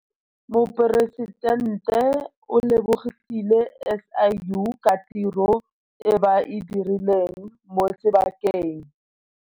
Moporesitente o lebogile SIU ka tiro e ba e dirileng mo sebakeng.